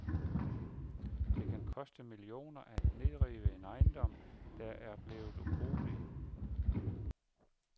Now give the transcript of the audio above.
Det kan koste millioner at nedrive en ejendom, der er blevet ubrugelig.